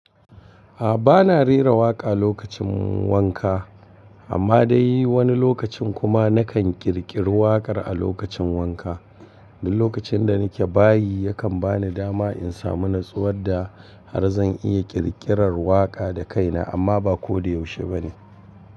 A'a bana rera waƙa a lokacin wanka, amma dai wani lokacin kuma na kan ƙirƙiri waƙar a lokacin wanka. Duk lokacin da nike bayi yakan bani dama in samu natsuwar da har zan iya ƙirƙirar waƙa da kaina amma ba ko da yaushe bane.